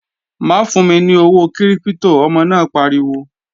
Má fún mi ní owó kírípítò, ọmọ náà pariwo!